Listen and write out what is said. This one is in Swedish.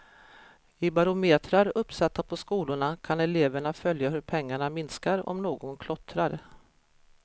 I barometrar uppsatta på skolorna kan eleverna följa hur pengarna minskar om någon klottrar.